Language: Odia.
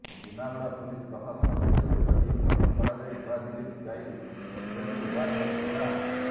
ଜୁନାଗଡ ପୁଲିସ ପ୍ରଶାସନ ପକ୍ଷରୁ ଏକ ଟିମ ଗଠନ କରାଯାଇ ନୂଆଦିଲ୍ଲୀକୁ ଯାଇ ଉଭୟଙ୍କୁ ଉଦ୍ଧାର କରିଥିଲା